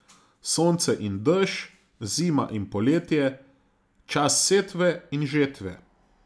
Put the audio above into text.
Sonce in dež, zima in poletje, čas setve in žetve.